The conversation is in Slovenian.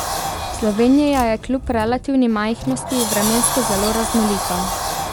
Slovenija je kljub relativni majhnosti vremensko zelo raznolika.